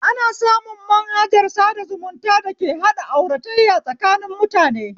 Ana samu manhajar sada zumuta dake haɗa auratayya tsakanin mutane